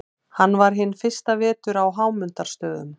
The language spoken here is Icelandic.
Hann var hinn fyrsta vetur á Hámundarstöðum.